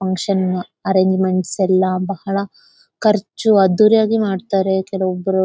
Function arrangements ಎಲ್ಲ ಬಹಳ ಖರ್ಜು ಅದ್ದೂರಿಯಾಗಿ ಮಾಡ್ತಾರೆ ಕೆಲ ಒಬ್ಬರು.